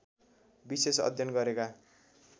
विशेष अध्ययन गरेका